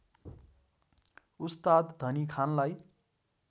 उस्ताद धनी खानलाई